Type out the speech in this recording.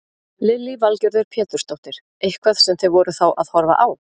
Lillý Valgerður Pétursdóttir: Eitthvað sem þið voruð þá að horfa á?